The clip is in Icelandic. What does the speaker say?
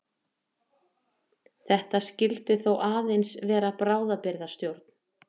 Þetta skyldi þó aðeins vera bráðabirgðastjórn.